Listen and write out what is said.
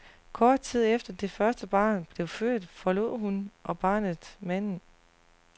Kort tid efter det første barn blev født, forlod hun og barnet manden.